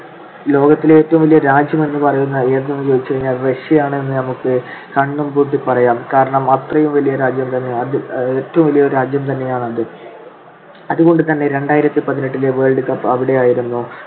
ലോകത്തിലെ ഏറ്റവും വലിയ രാജ്യം എന്ന് പറയുന്ന ഏതാണെന്നു ചോദിച്ചാൽ റഷ്യയാണെന്ന് നമുക്ക് കണ്ണുംപൂട്ടി പറയാം. കാരണം അത്രയും വലിയ രാജ്യം തന്നെയാണ്, ഏറ്റവും വലിയ രാജ്യം തന്നെയാണത്. അതുകൊണ്ടുതന്നെ രണ്ടായിരത്തി പതിനെട്ടിലെ world cup അവിടെയായിരുന്നു.